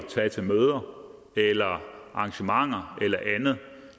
tage til møder eller arrangementer eller andet